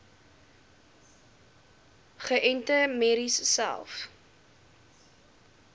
geënte merries selfs